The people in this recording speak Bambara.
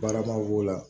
Baaramaw b'o la